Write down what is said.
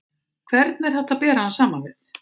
Hvern er hægt að bera hann saman við?